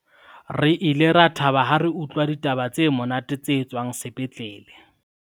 re ile ra thaba ha re utlwa ditaba tse monate tse tswang sepetlele